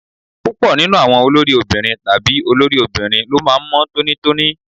Púpọ̀ nínú àwọn olórí obìnrin tàbí olórí obìnrin ló máa ń mọ́ tónítóní.